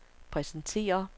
præsenterer